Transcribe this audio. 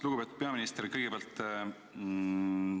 Lugupeetud peaminister!